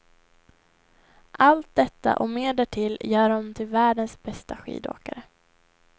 Allt detta och mer därtill gör honom till världens bästa skidåkare.